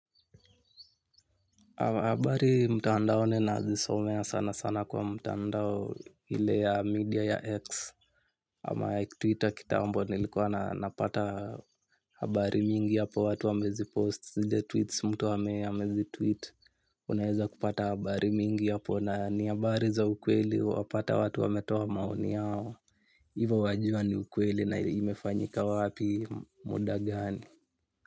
Habari mtandaoni nazisomea sana sana kwa mtandao ile ya media ya X. Ama Twitter kitambo nilikuwa na napata habari mingi hapo watu wamezipost zile tweets mtu amezitweet. Unaeza kupata habari mingi hapo na ni habari za ukweli. Wapata watu wametoa maoni yao hivo wajua ni ukweli na imefanyika wapi muda gani.